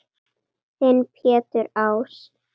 Þinn Pétur Ás.